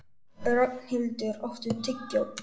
Ragnhildur, áttu tyggjó?